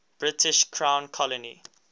british crown colony